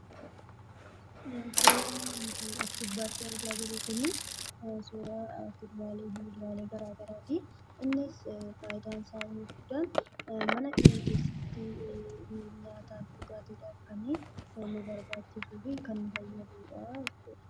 Suuraan nuti as gubbaatti argaa jirru, suuraa kuduraalee fi muduraalee garaagaraati. Innis faayidaansaa inni guddaan mana keenya keessatti nyaataa fi dhugaatiidhaaf kan nu barbaachisuu fi kan nu fayyaduudhaa jechuudha.